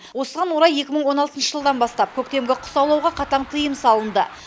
осыған орай екі мың он алтыншы жылдан бастап көктемгі құс аулауға қатаң тыйым салынды